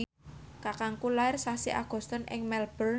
kakangku lair sasi Agustus ing Melbourne